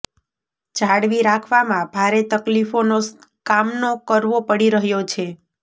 જાળવી રાખવામાં ભારે તકલીફોનો કામનો કરવો પડી રહ્યો છે